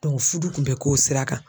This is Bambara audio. fudu kun bɛ k'o sira kan.